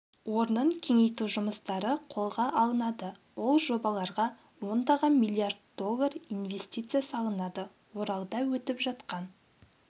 орнын кеңейту жұмыстары қолға алынады ол жобаларға ондаған миллиард доллар инвестиция салынады оралда өтіп жатқан